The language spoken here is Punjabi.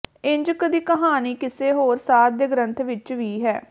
ਇੰਝ ਕੁ ਦੀ ਕਹਾਣੀ ਕਿਸੇ ਹੋਰ ਸਾਧ ਦੇ ਗਰੰਥ ਵਿਚ ਵੀ ਹੈ